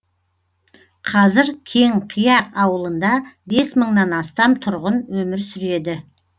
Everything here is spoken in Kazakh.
қазір кеңқияқ ауылында бес мыңнан астам тұрғын өмір сүреді